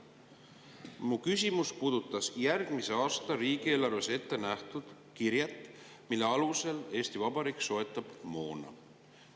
Mu küsimus puudutas järgmise aasta riigieelarves ette nähtud kirjet, mille alusel Eesti Vabariik soetab moona.